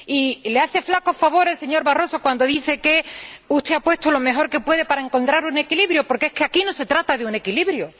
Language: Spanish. Y le hace un flaco favor el señor Barroso cuando dice que usted ha puesto lo mejor que puede para encontrar un equilibrio, porque es que aquí no se trata de encontrar un equilibrio.